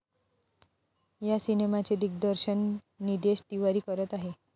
या सिनेमाचे दिग्दर्शन निदेश तिवारी करत आहेत.